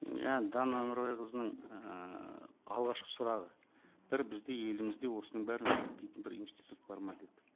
мен жаңа дана өмірбайқызының ііі алғашқы сұрағы бір бізде елімізде осының бәрін зерттейтін бір институт бар ма деді